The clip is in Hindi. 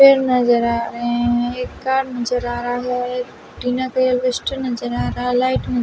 पेड़ नजर आ रहे हैं एक कार नजर आ रहा है टीन का यह लिस्ट नजर आ रहा लाइट न--